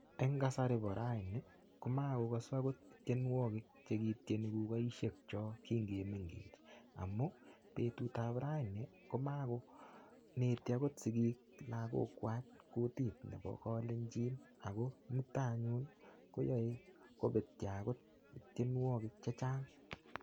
En kasari kora any komakokasu tienwogik che kityeni kukoisiekyok kingimengech amun betut ab raini komakoneti agot sigik lagok kwak kutit nebo kolenjin ago mutai yu koyae kobetyo agot tienwogik che chang.